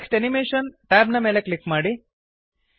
text animation tab ನ ಮೇಲೆ click ಮಾಡಿ